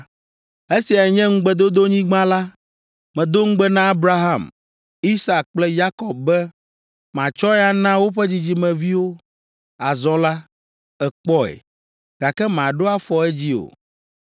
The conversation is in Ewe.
“Esiae nye ŋugbedodonyigba la. Medo ŋugbe na Abraham, Isak kple Yakob be matsɔe ana woƒe dzidzimeviwo. Azɔ la, èkpɔe, gake maɖo afɔ edzi o.”